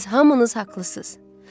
Siz hamınız haqlısınız.